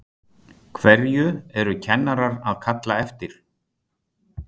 Hverju eru kennarar að kalla eftir?